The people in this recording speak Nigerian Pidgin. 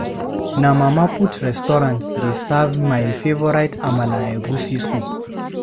Na Mama Put restaurant dey serve my favorite amala and egusi soup.